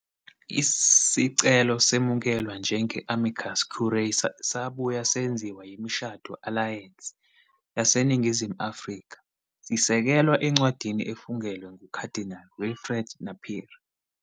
Isicelo semukelwa njenge-amicus curiae sabuye senziwa yiMishado Alliance yaseNingizimu Afrika, sisekelwa encwadini efungelwe nguKhadinali Wilfred Napier.